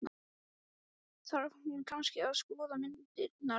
Þarf hún kannski að skoða myndirnar líka?